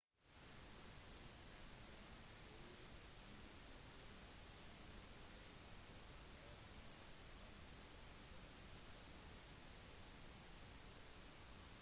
myspace er den 3. mest populære nettsiden i usa og har nå 54 millioner registrerte profiler